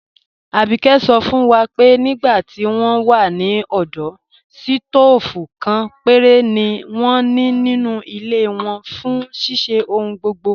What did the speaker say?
Àbíké sọ̀ fún wa pé nígbà tí wọn wà ní ọdọ̀, sítoofú kan pẹ̀rẹ̀ ni wọn ní nínu ilẹ̀ wọn fún ṣíṣẹ̀ ọ̀hùn gbogbo.